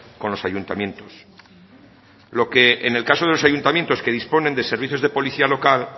con los ayuntamientos lo que en el caso de los ayuntamientos que disponen de servicios de policía local